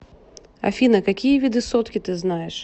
афина какие виды сотки ты знаешь